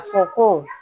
A fɔ ko